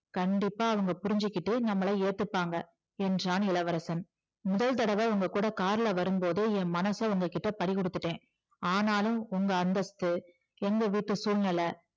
கண்டிப்பா அவங்க புரிஞ்சுகிட்டு நம்மள ஏத்துப்பாங்க என்றான் இளவரசன் முதல் தடவை உங்க கூட கார்ல வரும்போதே என் மனசை உங்ககிட்ட பறிகொடுத்துட்டேன் ஆனாலும் உங்க அந்தஸ்து எங்க வீட்டு சூழ்நிலை